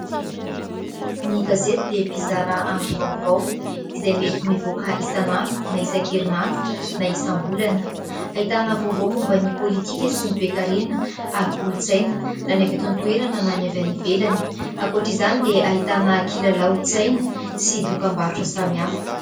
Ny gazety dia mpizara angom-baovao izay mety mivoaka isan'andro na isan-kerinandro na isam-bolana. Ahitana vaovao momba ny politika sy ny toe-karena ary kolon-tsaina na ny avy eto an-toerana na ny avy any ivelany. Ankoatra izany dia ahitana kilalaon-tsaina sy dokam-barotra samihafa.